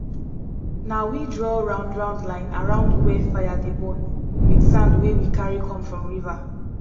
na we draw roundround line around where fire dey burn with sand wey we carry come from river